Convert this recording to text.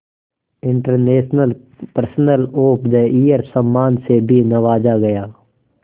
international person of the year सम्मान से भी नवाजा गया